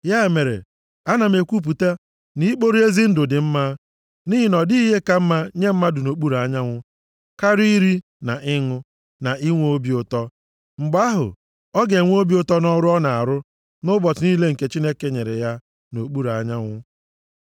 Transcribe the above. Ya mere, ana m ekwupụta, na ikpori ezi ndụ dị mma, nʼihi na ọ dịghị ihe ka mma nye mmadụ nʼokpuru anyanwụ, karịa iri, na ịṅụ, na inwe obi ụtọ. Mgbe ahụ ọ ga-enwe obi ụtọ nʼọrụ ọ na-arụ nʼụbọchị niile nke Chineke nyere ya nʼokpuru anyanwụ.